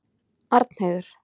Arnheiður